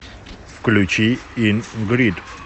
включи ин грид